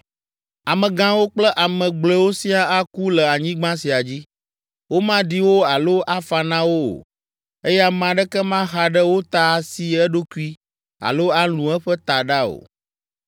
“Amegãwo kple ame gblɔewo siaa aku le anyigba sia dzi. Womaɖi wo alo afa na wo o, eye ame aɖeke maxa ɖe wo ta asi eɖokui alo alũ eƒe taɖa o.